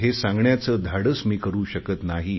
हे सांगण्याचे धाडस मी करु शकत नाही